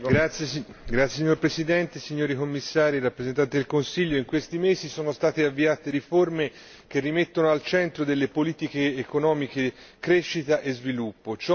Signor Presidente, onorevole colleghi, signori Commissari, rappresentanti del Consiglio, in questi mesi sono state avviate riforme che rimettono al centro delle politiche economiche crescita e sviluppo.